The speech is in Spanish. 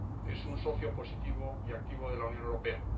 es un socio positivo y activo de la Unión Europea.